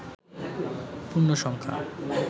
পূর্ণ সংখ্যা